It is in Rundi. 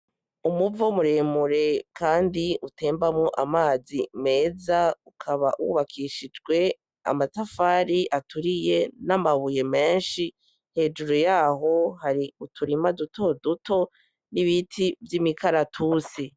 Umuvo muremure kandi utembamwo amazi meza ukaba wubakishijwe amatafari aturiye n'amabuye menshi hejuru yaho hari uturima duto duto n'ibiti vy'imikaratusi.